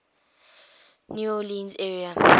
new orleans area